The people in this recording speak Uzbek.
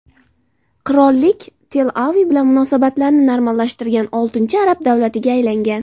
qirollik Tel-Aviv bilan munosabatlarni normallashtirgan oltinchi arab davlatiga aylangan.